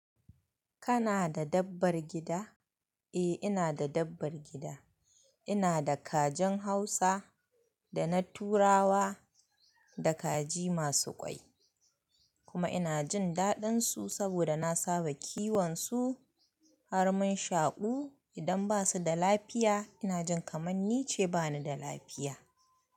Kana da dabbar gida? Eh ina da dabbar gida. Ina da kajin Hausa da na Turawa da kaji masu ƙwai. Kuma ina jin daɗinsu saboda na saba kiwon su har mun shaƙu. Idan basu da lafiya ina jin kamar ni ce bani da lafiya.